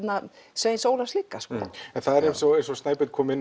Sveins Óla líka eins og Snæbjörn kom inn